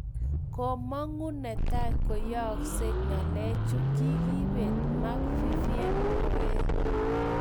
Komago ntai koyaagsei ngalechu kigipet Marc-Vivien Foe.